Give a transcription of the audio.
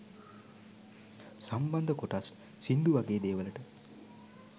සම්බන්ධ කොටස් සිංදු වගේ දේවලට